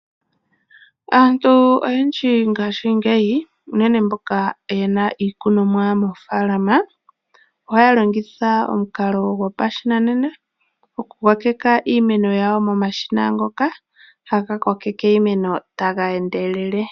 Aantu oyendji ngashingeyi unene mboka ye na iikunomwa moofaalama, ohaya longitha omukalo gopashinanena okukokeka iimeno yawo momashina ngoka ha ga kokeke iimeno ta ga endelele.